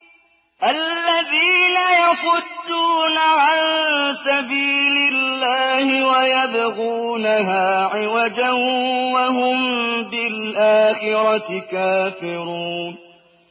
الَّذِينَ يَصُدُّونَ عَن سَبِيلِ اللَّهِ وَيَبْغُونَهَا عِوَجًا وَهُم بِالْآخِرَةِ كَافِرُونَ